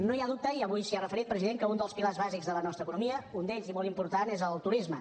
no hi ha dubte i avui s’hi ha referit president que un dels pilars bàsics de la nostra economia un d’ells i molt important és el turisme